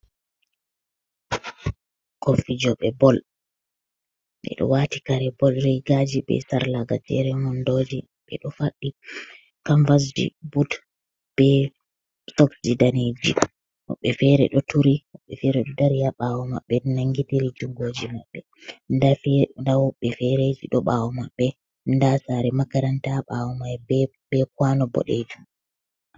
Bikkon fi jobe bol be do wati kare bol regaji be sarla gajeren wondoji be do faddi kamvasji boot be soksji daneji wobbe fere do turi wobbe fere do dari ha bawo mabbe nan gidiri jungoji mabbe da wobbe fereji do bawo mabbe da sare makaranta ha bawo mai be kwano bodeji.